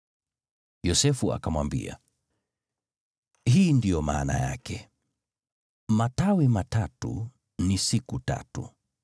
Yosefu akamwambia, “Hii ndiyo maana yake: Matawi matatu ni siku tatu.